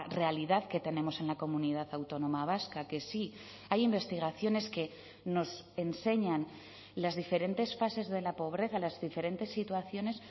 realidad que tenemos en la comunidad autónoma vasca que sí hay investigaciones que nos enseñan las diferentes fases de la pobreza las diferentes situaciones